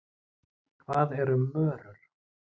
Hvað eru mörur?